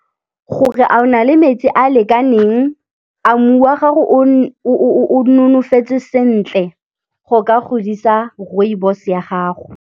Gore a o na le metsi a a lekaneng, a mmu wa gago o nonofetse sentle go ka godisa rooibos ya gago.